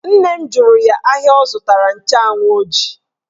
Nne m jụrụ ya ahịa ọ zụtara nchụanwụ ọ ji